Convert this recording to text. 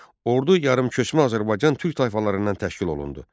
Ordu yarımköçmə Azərbaycan Türk tayfalarından təşkil olundu.